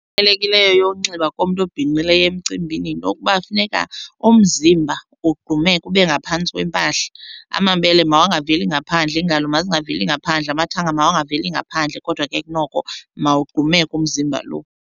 yokunxiba komntu obhinqileyo emcimbini yinto yokuba kufuneka umzimba wogqumeke ube ngaphantsi kwempahla, amabele mawangaveli ngaphandle, iingalo mazingaveli ngaphandle, amathanga makangaveli ngaphandle. Kodwa ke kunoko mawugqumeke umzimba lo.